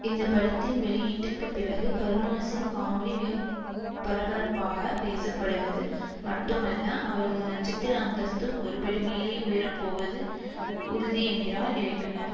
இந்த படத்தின் வெளியீட்டுக்குப் பிறகு கருணாஸின் காமெடி மிகப்பரபரப்பாக பேசப்படுவது மட்டுமல்ல அவரது நட்சத்திர அந்தஸ்தும் ஒருபடி மேலே உயர போவது உறுதி என்கிறார் இயக்குனர்